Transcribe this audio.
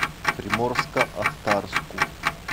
приморско ахтарску